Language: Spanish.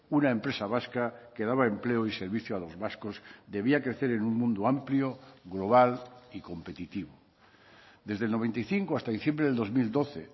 una empresa vasca que daba empleo y servicio a los vascos debía crecer en un mundo amplio global y competitivo desde el noventa y cinco hasta diciembre del dos mil doce